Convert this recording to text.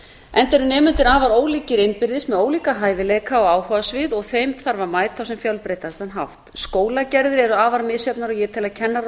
enda eru nemendur afar ólíkir innbyrðis sem ólíka hæfileika og áhugasvið og þeim þarf að mæta á sem fjölbreyttastan hátt skólagerðir eru afar misjafnar ég tel að kennarar